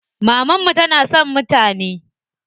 Mamanmu tana son mutane.